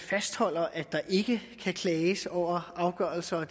fastholder at der ikke kan klages over afgørelser